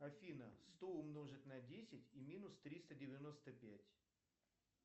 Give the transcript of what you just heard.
афина сто умножить на десять и минус триста девяносто пять